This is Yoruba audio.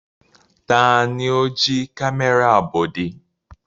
Ta ni ó jí kámẹ́rà Bọ̀dé?